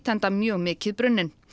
enda mjög mikið brunnin